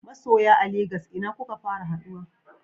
Masoya a Lagos ina kuka fara haduwa?